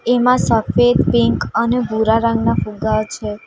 એમાં સફેદ પિંક અને ભૂરા રંગ ના ફુગ્ગા છે.